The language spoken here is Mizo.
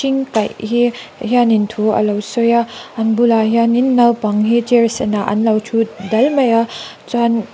ing kaih hi hianin thu alo sawi a an bulah hianin naupang hi chair senah an lo thu dal mai a chuan--